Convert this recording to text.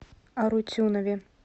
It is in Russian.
арутюнове